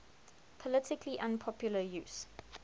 politically unpopular use